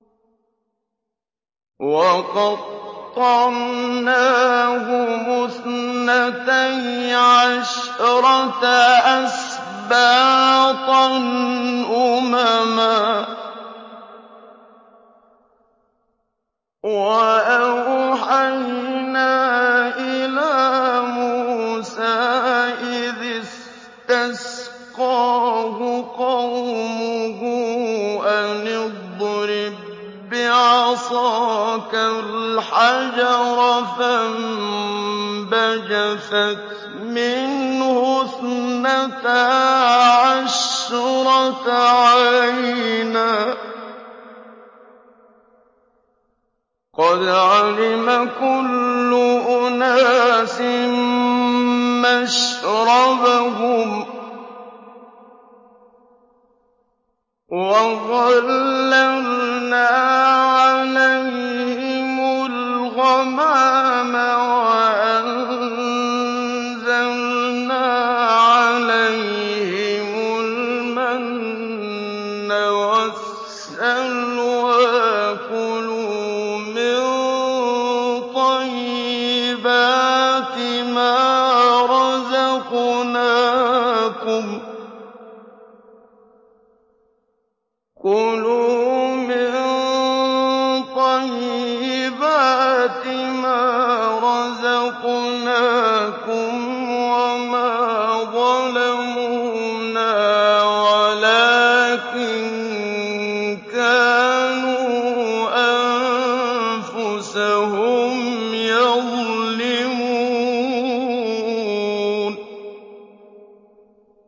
وَقَطَّعْنَاهُمُ اثْنَتَيْ عَشْرَةَ أَسْبَاطًا أُمَمًا ۚ وَأَوْحَيْنَا إِلَىٰ مُوسَىٰ إِذِ اسْتَسْقَاهُ قَوْمُهُ أَنِ اضْرِب بِّعَصَاكَ الْحَجَرَ ۖ فَانبَجَسَتْ مِنْهُ اثْنَتَا عَشْرَةَ عَيْنًا ۖ قَدْ عَلِمَ كُلُّ أُنَاسٍ مَّشْرَبَهُمْ ۚ وَظَلَّلْنَا عَلَيْهِمُ الْغَمَامَ وَأَنزَلْنَا عَلَيْهِمُ الْمَنَّ وَالسَّلْوَىٰ ۖ كُلُوا مِن طَيِّبَاتِ مَا رَزَقْنَاكُمْ ۚ وَمَا ظَلَمُونَا وَلَٰكِن كَانُوا أَنفُسَهُمْ يَظْلِمُونَ